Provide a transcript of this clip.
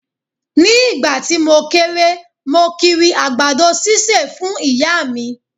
Ni ìgbà tí mo kéré, mo kiri àgbàdo sísè fún Ìyá mi.